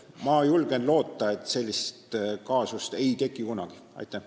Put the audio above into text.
Ma julgen loota, et sellist kaasust kunagi ei teki.